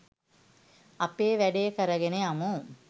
අපේ වැඩේ කරගෙන යමු